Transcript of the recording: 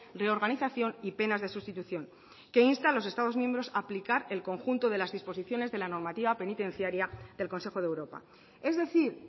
reorganización y penas de sustitución que insta a los estados miembros a aplicar el conjunto de las disposiciones de la normativa penitenciaria del consejo de europa es decir